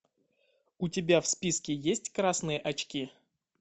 у тебя в списке есть красные очки